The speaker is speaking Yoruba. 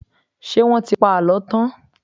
Ṣé wọ́n ti pa àlọ́ tán?